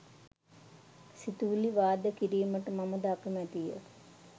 සිතුවිලි වාද කිරීමට මමද අකමැතිය.